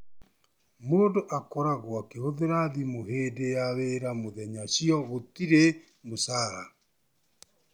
Mũndũ akorwo akĩhũthĩra thimũ hĩndĩ ya wĩra mũthenya cio gũtirĩ mũcara.